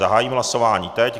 Zahájím hlasování teď.